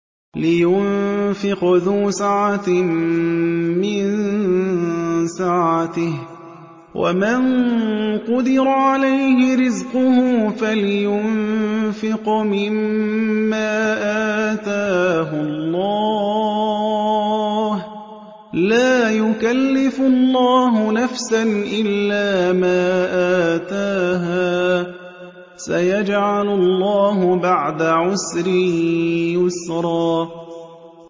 لِيُنفِقْ ذُو سَعَةٍ مِّن سَعَتِهِ ۖ وَمَن قُدِرَ عَلَيْهِ رِزْقُهُ فَلْيُنفِقْ مِمَّا آتَاهُ اللَّهُ ۚ لَا يُكَلِّفُ اللَّهُ نَفْسًا إِلَّا مَا آتَاهَا ۚ سَيَجْعَلُ اللَّهُ بَعْدَ عُسْرٍ يُسْرًا